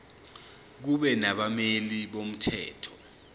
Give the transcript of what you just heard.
kube nabameli bomthetho